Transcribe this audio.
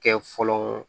Kɛ fɔlɔ